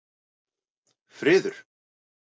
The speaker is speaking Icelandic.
Friður